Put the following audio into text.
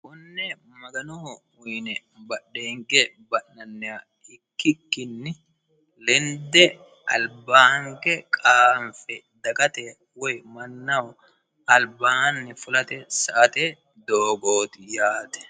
konne maganoho uyine badhenge ba'nanniha ikkikkinni lende alba hinge qaanfe dagate woy mannahoalbaanni fulate sa"ate dogooti yaate